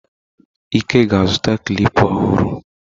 Ike ga azuta klịpa ọhụrụ.